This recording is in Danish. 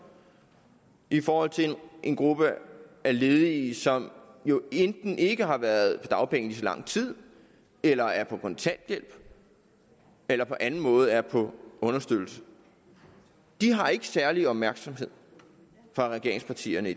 i forhold til en gruppe af ledige som jo enten ikke har været på dagpenge i lige så lang tid eller er på kontanthjælp eller på anden måde er på understøttelse de har ikke særlig opmærksomhed fra regeringspartiernes